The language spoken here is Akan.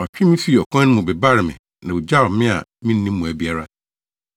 ɔtwee me fii ɔkwan no mu bebaree me na ogyaw me a minni mmoa biara.